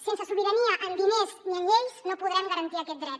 sense sobirania en diners ni en lleis no podrem garantir aquest dret